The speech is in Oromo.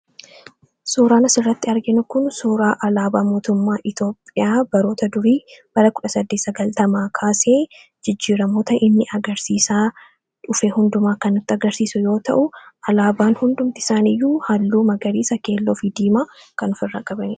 Suuraan asirratti arginu kun suuraa alaabaa mootummaa Itoophiyaa baroota durii bara 1890 kaasee jijjiiramoota inni agarsiisaa dhufe hundumaa kan nutti agarsiisu yoo ta'u alaabaan hundumtisaanii iyyuu halluu Magariisa, Keelloo fi diimaa kan ofirraa qabudha.